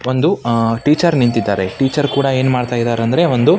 ಒಂದು ಟೀಚರ್ ನಿಂತಿದ್ದಾರೆ ಟೀಚರ್ ಕೂಡ ಏನನ್ನು ಮಾಡುತ್ತಿದ್ದಾರೆ ಅಂದರೆ ಒಂದು --